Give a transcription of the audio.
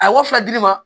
A ye wa fila di ne ma